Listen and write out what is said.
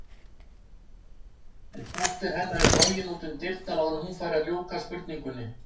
En dóttir hennar er flogin út um dyrnar áður en hún fær að ljúka spurningunni.